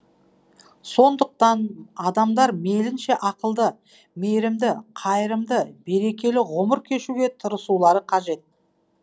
сондықтан адамдар мейлінше ақылды мейрімді қайырымды берекелі ғұмыр кешуге тырысулары қажет